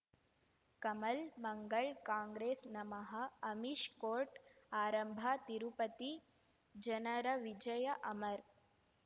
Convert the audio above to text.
ಕಮಲ್ ಮಂಗಳ್ ಕಾಂಗ್ರೆಸ್ ನಮಃ ಅಮಿಷ್ ಕೋರ್ಟ್ ಆರಂಭ ತಿರುಪತಿ ಜನರ ವಿಜಯ ಅಮರ್